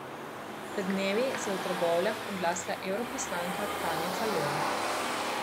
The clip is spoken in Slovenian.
Pred dnevi se je v Trbovljah oglasila evroposlanka Tanja Fajon.